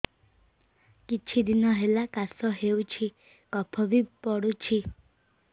କିଛି ଦିନହେଲା କାଶ ହେଉଛି କଫ ବି ପଡୁଛି